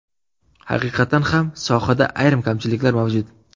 Haqiqatan ham, sohada ayrim kamchiliklar mavjud.